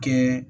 Kɛ